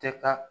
Tɛ taa